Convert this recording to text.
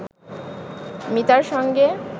মিতার সঙ্গে